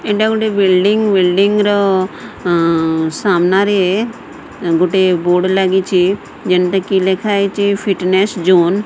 ଏଇଟା ଗୋଟେ building building ର ଆଁ ସାମ୍ନାରେ ଗୁଟେ ବୋର୍ଡ ଲାଗିଚି ଯେମତାକି ଲେଖାହେଇଚି ଫିଟନେସ ଜୋନ ।